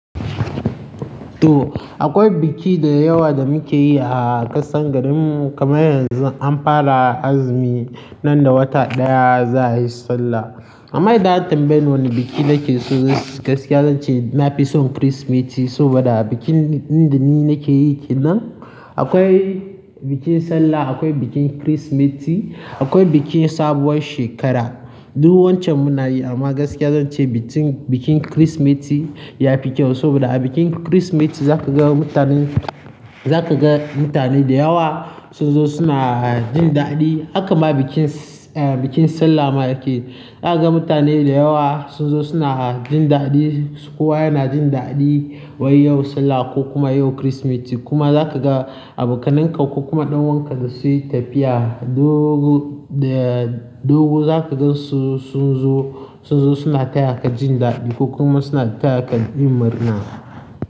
To, akwai biki da yawa da muke yi a ƙasar garin mu kamar yanzu an fara azumi nan da wata ɗaya za a yi sallah. Amma idan a tambaye wane biki nake so gaskiya zan ce na fi son Kirsimeti saboda a bikin inda ni nake yi kenan akwai bikin sallah, akwai bikin Kirsimeti, akwai bikin sabuwar shekara. Duk wancan muna yi amma gaskiya zan ce bikin, bikin Kirsimeti ya fi kyau saboda a bikin Kirsimeti za ka ga mutanen, za ka ga mutane da yawa sun zo suna jin daɗi. Hakama bikin, eh, bikin sallah ma yake. Za ka ga mutane da yawa sun zo suna jin daɗi. Kowa yana jin daɗi wai yau sallah ko kuma yau Kirsimeti kuma za ka ga abokanan ka ko kuma ɗan'uwanka da su yi tafiya dogu, da dogu za ka ga su sun zo, sun zo suna taya ka jin daɗi ko kuma suna taya ka yin mari'na.